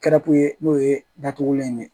Kɛra kun ye n'o ye datugulan in ye